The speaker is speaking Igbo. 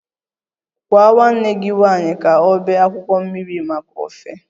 Gwa nwanne gị nwanyị ka ọ bee akwụkwọ mmiri maka ofe